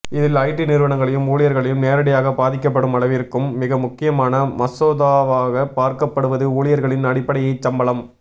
இதில் ஐடி நிறுவனங்களையும் ஊழியர்களையும் நேரடியாகப் பாதிக்கப்படும் அளவிற்கும் மிக முக்கியமான மசோதாவாகப் பார்க்கப்படுவது ஊழியர்களின் அடிப்படையைச் சம்பளம்